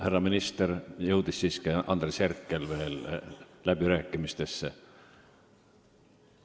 Härra minister, Andres Herkel andis ka märku soovist läbirääkimistel osaleda.